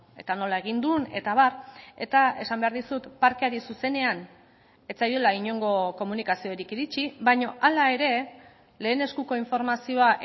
eta nola egin duen eta abar eta esan behar dizut parkeari zuzenean ez zaiola inongo komunikaziorik iritsi baina hala ere lehen eskuko informazioa